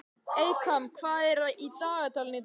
Eykam, hvað er í dagatalinu í dag?